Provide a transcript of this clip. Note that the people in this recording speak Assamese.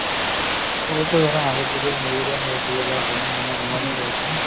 ধৰা আগত যিবোৰ মেলেৰিয়া হৈ আছিলে বা বিভিন্ন ধৰণৰ বেমাৰ হয় আছিলে ন ?